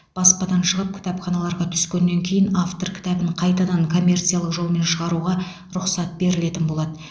баспадан шығып кітапханаларға түскеннен кейін автор кітабын қайтадан коммерциялық жолмен шығаруға рұқсат берілетін болады